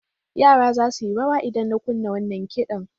Yara za su yi rawa idan na kunna wannan kiɗan.